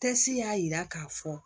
Tɛsi y'a yira k'a fɔ